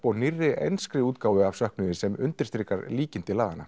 og nýrri enskri útgáfu af söknuði sem undirstrikar líkindi laganna